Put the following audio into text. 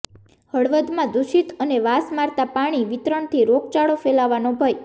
હળવદમાં દૂષિત અને વાસ મારતા પાણી વિતરણથી રોગચાળો ફેલાવાનો ભય